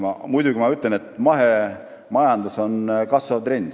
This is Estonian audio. Ma ütlen muidugi ka seda, et mahemajandus on kasvav trend.